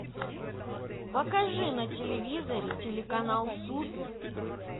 покажи на телевизоре телеканал супер